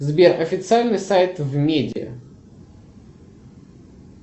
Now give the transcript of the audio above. сбер официальный сайт в меде